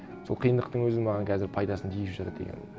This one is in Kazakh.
сол қиындықтың өзі маған қазір пайдасын тигізіп жатыр деген